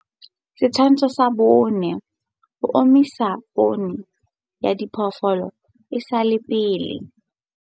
Setshwantsho sa 4. Ho omisa poone ya diphoofolo e sa le pele.